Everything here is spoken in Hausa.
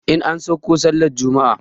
In an sauko sallar juma'a